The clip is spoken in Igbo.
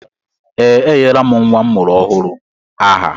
Ee, enyela m nnwa m mụrụ ọhụrụ aha